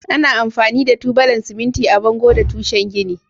Ana amfani da tubalan siminti a bango da tushe gini.